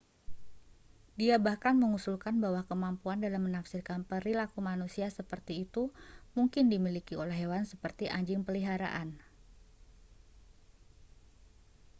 dia bahkan mengusulkan bahwa kemampuan dalam menafsirkan perilaku manusia seperti itu mungkin dimiliki oleh hewan seperti anjing peliharaan